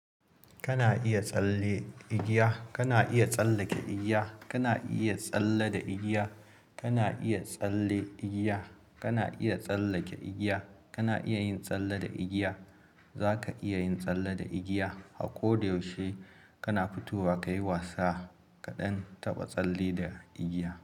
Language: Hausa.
Kana iya tsalle igiya, kana iya tsallake igiya, kana iya tsalle da igiya, kana iya tsalle igiya, kana iya tsallake igiya, kana iya yin tsalle da igiya. Zaka iya yin tsalle da igiya. A ko da yaushe kana fitowa kayi wasa kaɗan taba tsalle da igiya.